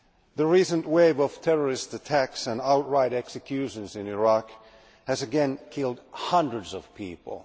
The recent wave of terrorist attacks and outright executions in Iraq has again killed hundreds of people.